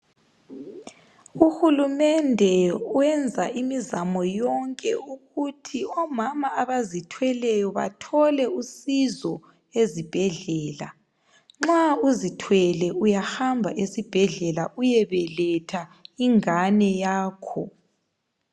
Uhulumende wenza imizamo yonke ukuthi omama abazithweleyo bathole usizo ezibhedlela. Nxa uzithwele uyahamba esibhedlela uyebeletha ingane yakho.